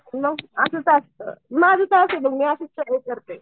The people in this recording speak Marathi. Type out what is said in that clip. मग असंच असतं माझं तर आहे बघ मी असच करते.